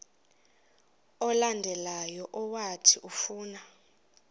olandelayo owathi ufuna